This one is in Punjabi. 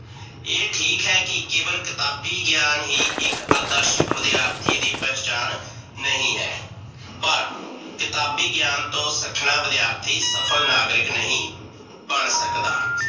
ਏਹ ਠੀਕ ਹੈ ਕੀ ਕੇਵਲ ਕਿਤਾਬੀ ਗਿਆਨ ਹੀ ਇੱਕ ਆਦਰਸ਼ਕ ਵਿਦਿਆਰਥੀ ਦੀ ਪਹਿਚਾਣ ਨਹੀਂ ਹੈ, ਪਰ ਕਿਤਾਬੀ ਗਿਆਨ ਤੋਂ ਸੱਖਣਾ ਵਿਦਿਆਰਥੀ ਸਫਲ ਨਾਗਰਿਕ ਨਹੀਂ ਬਣ ਸਕਦਾ।